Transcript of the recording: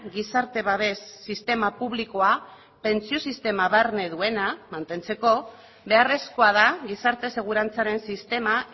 gizarte babes sistema publikoa pentsio sistema barne duena mantentzeko beharrezkoa da gizarte segurantzaren sistema